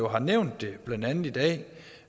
har nævnt det blandt andet i dag